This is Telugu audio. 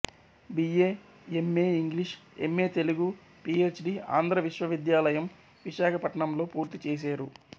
బియ్యే ఎమ్మేఇంగ్లీషు ఎమ్మేతెలుగు పీ ఎచ్ డీ ఆంధ్ర విశ్వవిద్యాలయం విశాఖపట్నం లో పూర్తి చేసేరు